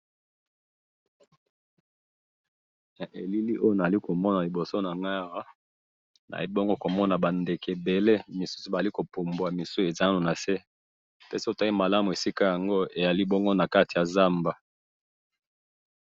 Elili na za komona awa eza ba ndeke ebele na zamba, ba fandi na ba mususu bazo pumbwa.